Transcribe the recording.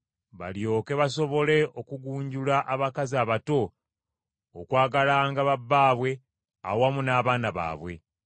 balyoke basobole okugunjula abakazi abato okwagalanga ba bbaabwe awamu n’abaana baabwe.